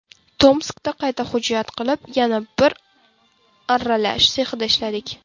Tomskda qayta hujjat qilib, yana bir arralash sexida ishladik.